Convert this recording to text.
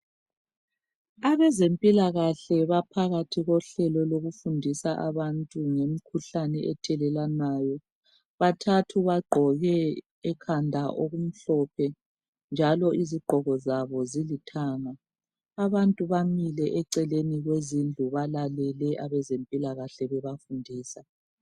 Abezempila kahle baphakathi kohlelo lokufundisa abantu ngemkhuhlane ethelelwanayo bathathu bagqoke ekhanda okumhlophe njalo izigqoko zilithanga abantu bamile eceleni kwezindlu zabo balalele abezempilakahle bebafundisa